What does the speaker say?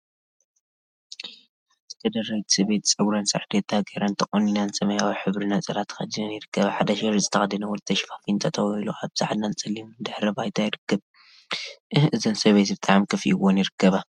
ሓንቲ ከደረይቲ ሰበይቲ ፀጉረን ሳርዴታ ገይረን ተቆኒነን ሰማያዊ ሕብሪ ነፀላ ተከዲነን ይርከባ፡፡ ሓደ ሸሪጥ ዝተከደነ ወዲ ተሸፋፊኑ ጠጠወ ኢሉ አብ ፃዕዳን ፀሊምን ድሕረ ባይታ ይርከብ፡፡ እህ! እዘን ሰበይቲ ብጣዕሚ ከፊእወን ይርከባ፡፡